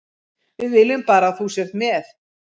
Við viljum bara að þú sért með.